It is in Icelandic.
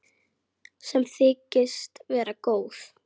Sem þykist vera góð.